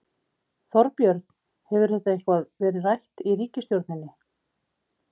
Þorbjörn: Hefur þetta eitthvað verið rætt í ríkisstjórninni?